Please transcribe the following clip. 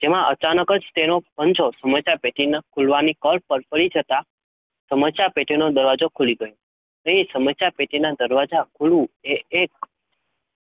તેમાં અચાનક તેનો પંજો સમસ્યા પેટીના ખુલવાની કળ પર પડી જતાં સમસ્યા પેટીનો દરવાજો ખુલી ગયો. તે સમસ્યા પેટીના દરવાજા ખૂલવું એ એક